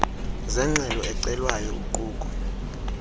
zengxelo ecelwayo uquka